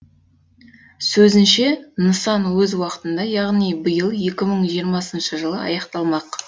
сөзінше нысан өз уақытында яғни биыл екі мың жиырмасыншы жылы аяқталмақ